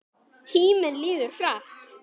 Tíminn líður hratt.